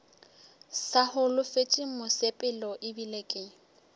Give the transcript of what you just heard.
sa holofetše mosepelo ebile ke